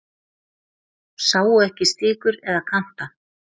Sáu ekki stikur eða kanta